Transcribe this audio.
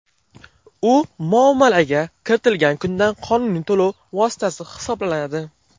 U muomalaga kiritilgan kundan qonuniy to‘lov vositasi hisoblanadi.